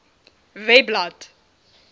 webblad